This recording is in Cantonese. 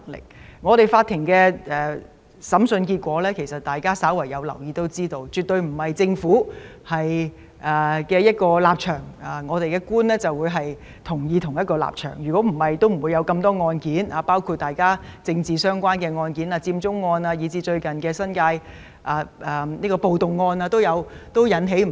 大家有留意的話，法庭的審訴結果顯示，並不是政府有何立場，法官都要支持，否則也不會有那麼多案件，包括與政治相關的案件、佔中案或最近的新界暴動案等。